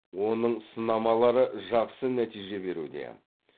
оның сынамалары жақсы нәтиже беруде